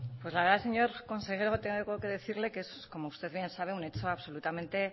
pues la verdad señor consejero tengo que decirle como usted bien sabe un hecho absolutamente